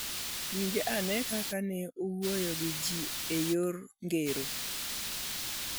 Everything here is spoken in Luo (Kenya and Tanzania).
Winj ane kaka ne owuoyo gi ji e yor ngero: